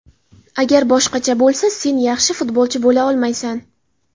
Agar boshqacha bo‘lsa, sen yaxshi futbolchi bo‘la olmaysan.